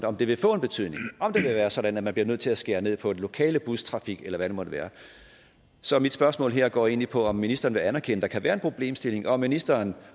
om det vil få en betydning om det vil være sådan at man bliver nødt til at skære ned på den lokale bustrafik eller hvad det måtte være så mit spørgsmål her går egentlig på om ministeren vil anerkende at der kan være en problemstilling og om ministeren